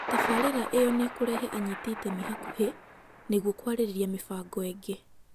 Tabarĩra ĩyo nĩ ĩkũrehe anyiti itemi hakuhĩ nĩguo kwarĩrĩra mĩbango ĩngĩ